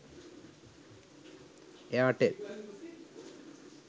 airtel